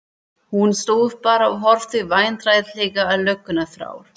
Hann stóð bara og horfði vandræðalega á löggurnar þrjár.